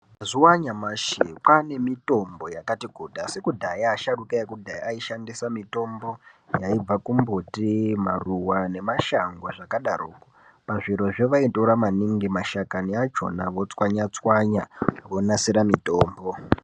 Mazuwa anyamashi kwaane mitombo yakati kuti asi kudhaya asharuka ekudhaya aishandisa mitombo yaibva kumbuti, maruwa nemashango zvakadarokwo, pazvirozvo vaitora maningi mashakani akhona vochwanya chwanya vonasira mitombo.